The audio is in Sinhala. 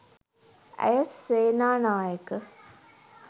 ඇය සේනානායක